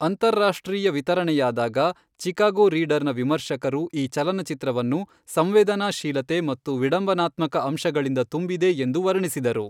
ಅಂತರರಾಷ್ಟ್ರೀಯ ವಿತರಣೆಯಾದಾಗ, ಚಿಕಾಗೋ ರೀಡರ್ನ ವಿಮರ್ಶಕರು ಈ ಚಲನಚಿತ್ರವನ್ನು ಸಂವೇದನಾಶೀಲತೆ ಮತ್ತು ವಿಡಂಬನಾತ್ಮಕ ಅಂಶಗಳಿಂದ ತುಂಬಿದೆ ಎಂದು ವರ್ಣಿಸಿದರು.